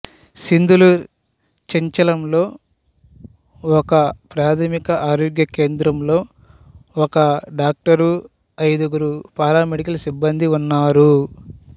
సిద్లూర్ చెంచెలంలో ఉన్న ఒకప్రాథమిక ఆరోగ్య కేంద్రంలో ఒక డాక్టరు ఐదుగురు పారామెడికల్ సిబ్బందీ ఉన్నారు